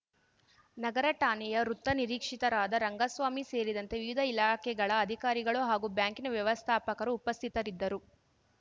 ನಗರ ಠಾಣೆಯ ವೃತ್ತ ನಿರೀಕ್ಷಿತರಾದ ರಂಗಸ್ವಾಮಿ ಸೇರಿದಂತೆ ವಿವಿಧ ಇಲಾಖೆಗಳ ಅಧಿಕಾರಿಗಳು ಹಾಗೂ ಬ್ಯಾಂಕಿನ ವ್ಯವಸ್ಥಾಪಕರು ಉಪಸ್ಥಿತರಿದ್ದರು